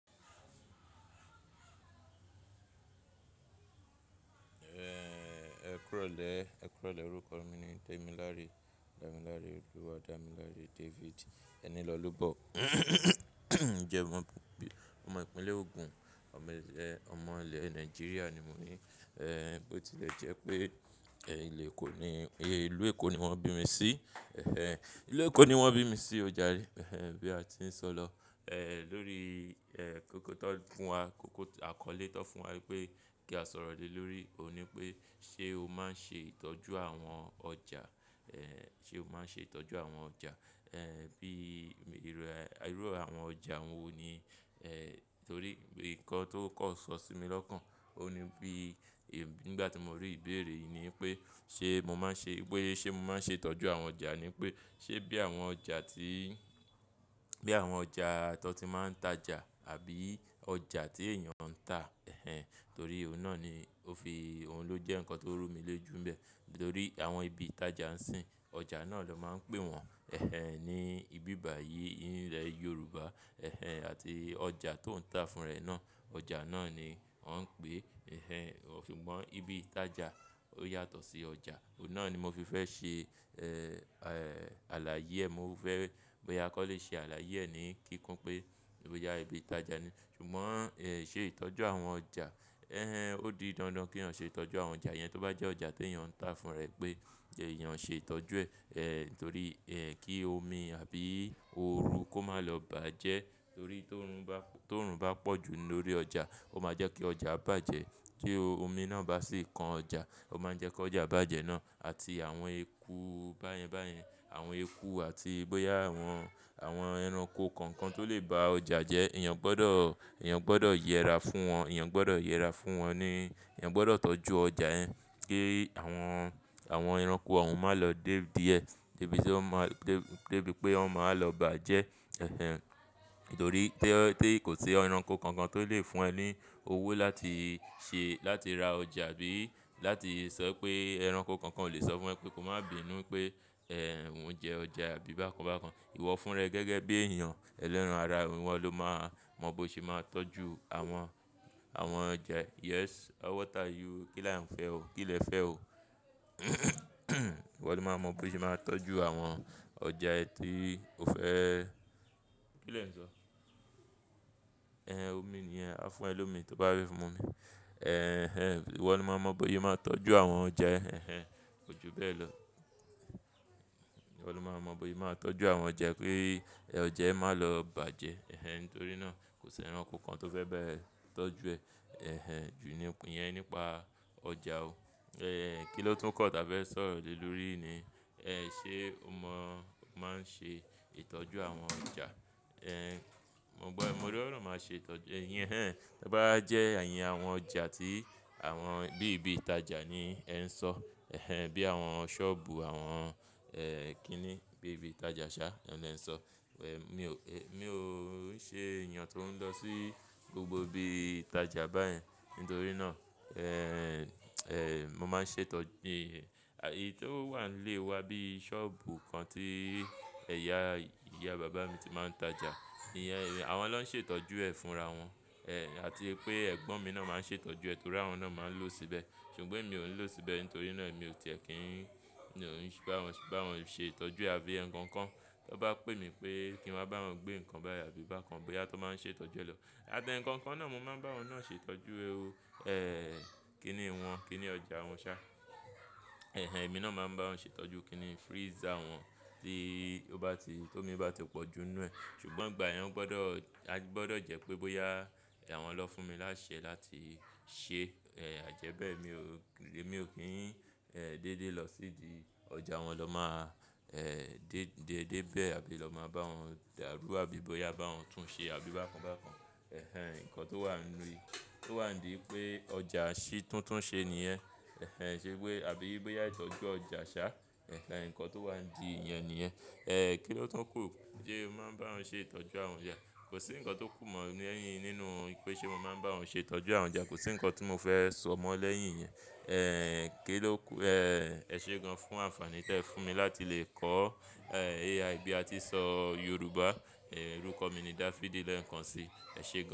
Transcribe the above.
Eeeh, ẹ kúrò lè, ẹ kúrò lè orúkọ mi ni Damilare, Damilare Oluwadamilare David. Ẹni Lolobo jẹ́ mọ̀, ọmọ ìpínlẹ̀ Ogun, ọmọ ẹ, ọmọ ilẹ̀ Nàìjíríà ni mo ní. Eh, bó ti lè jẹ́ pé, ẹ, ìle Èkó ni, ìlú Èkó ni wọ́n bí mi sí. Eh, ìlú Èkó ni wọ́n bí mi sí ó jàre. Eh, bí a ti ń sọ lọ. Eh, lórí, eh, kóko tó fún wa, kóko àkọlé tó fún wa wípé kí a sọ̀rọ̀ lè lórí òní pé ṣe o máa ń ṣe ìtọ́jú àwọn ọjà? Eh, ṣe o máa ń ṣe ìtọ́jú àwọn ọjà? Eh, bí, irú e, irú àwọn ọjà wo ni? Eh, torí nǹkan tó kọ̀ sọ sí mi lọ́kàn, òní bí, i nígbà tí mo rí ìbéèrè yìí ni i pé ṣe mo máa ń ṣe, pé ṣe mo máa ń ṣe ìtọ́jú àwọn ọjà ni pé, ṣe bí àwọn ọjà tí, bí àwọn ọjà tọ́ n ti máa ń tajà àbí ọjà tí èèyàn ń tà. Eh, torí ọ̀hun náà ni ó fi, òhun ló jẹ́ nǹkan tó rú mi lójú nbẹ́. Nítorí àwọn ibi ìtajà ń sìn, ọjà náà ló máa ń pè wọ́n. Eh, ní ibi bàyìí i ilẹ Yorùbá. Eh, àti ọjà tó ń tà fún rẹ̀ náà, ọjà náà ni wọ́n ń pè. Eh, ṣùgbọ́n ibi ìtajà ó yàtọ̀ sí ọjà. Òhun náà ni mo fi fẹ́ ṣe, eh, àlàyẹ e mo fẹ́, bóyá kò lè ṣe àlàyẹ e ní kíkún pé bóyá ibi ìtajà ni. Ṣùgbọ́n, eh, ṣe ìtọ́jú àwọn ọjà, eh, ó di dandan kí èèyàn ṣe ìtọ́jú àwọn ọjà yẹn. Tóbá jẹ́ ọjà tí èèyàn ń tà fún rẹ̀ pé èèyàn ṣe ìtọ́jú ẹ̀. Eh, torí, eh, kí omi àbí òru kó má lọ bàjẹ́. Torí tó run bá, tó run bá pọ̀jù lórí ọjà, ó máa jẹ́ kí ọjà bàjẹ́. Tí omi náà bá sì kan ọjà, ó máa ń jẹ́ kí ọjà bàjẹ́ náà àti àwọn eku báyẹn báyẹn, àwọn eku àti bóyá àwọn, àwọn ẹranko kankan tó lè ba ọjà jẹ́, èèyàn gbọ́dọ̀, èèyàn gbọ́dọ̀ yẹra fún wọn, èèyàn gbọ́dọ̀ yẹra fún wọn ni èèyàn gbọ́dọ̀ tọ́jú ọjà yẹn kí àwọn, àwọn ẹranko ò un máa lọ dé díẹ̀. Débi tí wọn máa, deb, débi pé wọn máa lọ bàjẹ́. Eh, nítorí té o, tí kò sí ẹranko kankan tó lè fún ẹ ní owó láti ṣe, láti ra ọjà bí láti sọ pé ẹranko kankan o lè sọ fún ẹ pé ko máa bínú pé, eh, òun jẹ ọjà àbí bákan bákan. Ìwọ fún ra e gẹ́gẹ́ bí èèyàn ẹlẹ́ran ara e oun, ìwọ́ ló máa mọ bó ṣe máa tọ́jú àwọn, àwọn ọjà e. Yes, how what are you? Kíle ẹ fẹ́ n o? Kí lè fẹ́ o? Ìwọ ló máa mọ bó ṣe máa tọ́jú àwọn ọjà ẹ tí o fẹ́ kí lè ń sọ? Eh, omi nìyẹn, a fún ẹ lómi tó bá rí fún mọ mi. Eh, ìwọ́ ló máa mọ bóyé máa tọ́jú àwọn ọjà e. Eh, kojú bẹ́ẹ̀ lọ. Iwọ́ ló máa mọ bóyé máa tọ́jú àwọn ọjà e pe ọjà ẹ má lọ bàjẹ́. Eh, ntorí náà kò sí ẹranko kan tó fẹ́ ba ẹ̀ tọ́jú ẹ. Eh, jù ní òpin yẹn nípa ọjà o. Eh, kí ló tún kọ́ tà fe sọ̀rọ̀ lè lórí ni? Eh, ṣe o mọ máa ń ṣe ìtọ́jú àwọn ọjà? Eh, mo gbọ́, mo roran máa ṣe ìtọ́jú, ìyẹn hẹ́n. Tébá jẹ́ èyìn àwọn ọjà tí àwọn bí ibi ìtajà ni ẹ ń sọ. Eh, bí àwọn sọ́ọ̀bù, àwọn, eh, kí ni, bí ibi ìtajà ṣá ọ́hun lè ń sọ. Mi ò e, mi ò ṣe èèyàn tó ń lọ sí gbogbo ibi ìtajà báyẹn. Ntorí náà, eh, eh, mo máa ń ṣe etọ́, ì, a èyí tó wà nlé wa bí i sọ́ọ̀bù kan tí ẹ̀yá, ìyá bàbá mi ti máa ń tajà. Ìyẹn, ìyẹn àwọn ló ń ṣe ìtọ́jú ẹ fúnra wọn. Eh, àti pé ẹ̀gbọ́n mi náà máa ń ṣe ìtọ́jú ẹ torí àwọn náà máa ń lò ó síbẹ̀. Ṣùgbọ́n èmí ò ń lò ó síbẹ̀ ntorí náà èmi ò tiẹ̀ kí n, bá wọn, bá wọn ṣe ìtọ́jú àfí eekankan. Tóbá pè mi pé kí n wá bá wọn gbé nǹkan báyìí àbí bákan bóyá tó máa ń ṣe ìtọ́jú ẹ lọ. Àtẹǹkan kan náà mo máa ń bá wọn náà ṣe ìtọ́jú. Eh, kí ni wọn, kí ni ọjà wọn ṣá? Eh, èmi náà máa ń bá wọn ṣe ìtọ́jú kí ni freezer wọn tí ó bá ti, ti ómi bá ti pọ̀jù ínú ẹ̀. Ṣùgbọ́n ngbà yẹn wọn gbọ́dọ̀, a gbọ́dọ̀ jẹ́ pé bóyá àwọn lọ fún mi láṣẹ láti ṣe. Eh, àjẹ́bẹ̀ mi ò kí, mi ò kí ń, eh, dédé lọ sídi ọjà wọn lọ máa, eh, dé, dé, dé bẹ́ẹ̀ àbí lọ máa bá wọn dàrú àbí bóyá bá wọn tún ṣe àbí bákan bákan. Eh, nǹkan tó wà nínú, tó wà ndí i pé ọjà ṣí títúnṣe níyẹn. Eh, ṣe pé àbí bóyá ìtọ́jú ọjà ṣá. Eh, nǹkan tó wà ndí ìyẹn nìyẹn. Eh, kí ló tún kù? Ṣé o máa ń bá wọn ṣe ìtọ́jú àwọn ọjà? Kò sí nǹkan tó kù mọ ni eyín nínú pé ṣe mo máa ń bá wọn ṣe ìtọ́jú àwọn ọjà. Kò sí nǹkan tí mo fẹ́ sọ mọ́ lẹ́yìn ìyẹn. Eh, kí ló kù? Eh, è ṣe gan fún àǹfààní tí ẹ fún mi láti lè kọ́, eh, AI bí a ti ń sọ Yorùbá. Eh, orúkọ mi ni David i Lẹ́ǹkanṣí. È ṣe gan.